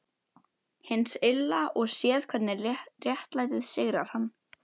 Hins Illa og séð hvernig réttlætið sigrar hann.